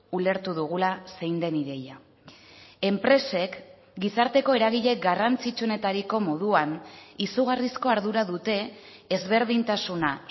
ulertu dugula zein den ideia enpresek gizarteko eragile garrantzitsuenetariko moduan izugarrizko ardura dute ezberdintasuna